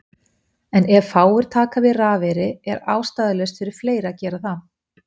En ef fáir taka við rafeyri er ástæðulaust fyrir fleiri að gera það.